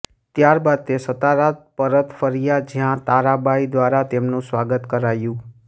ત્યારબાદ તે સતારા પરત ફર્યા જ્યાં તારાબાઈ દ્વારા તેમનું સ્વાગત કરાયું